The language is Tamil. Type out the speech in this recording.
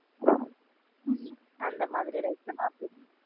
அந்த மாதிரி like பண்ணுவ.